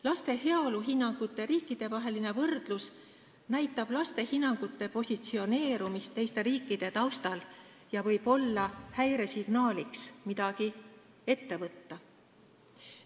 Laste heaoluhinnangute riikidevaheline võrdlus näitab laste hinnangute positsioneerumist teiste riikide taustal ja võib olla häiresignaaliks, et midagi on vaja ette võtta.